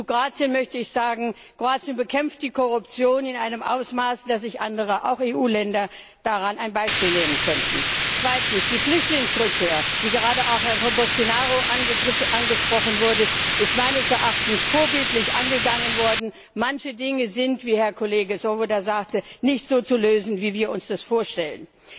Zu Kroatien möchte ich sagen, dass das Land die Korruption in einem Ausmaß bekämpft, dass sich andere auch EU Länder daran ein Beispiel nehmen könnten. Zweitens Die Flüchtlingsrückkehr, die gerade auch von Herrn Boştinaru angesprochen wurde, ist meines Erachtens vorbildlich angegangen worden. Manche Dinge sind, wie Herr Kollege Swoboda sagte, nicht so zu lösen, wie wir uns das vorstellen.